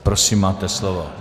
Prosím máte slovo.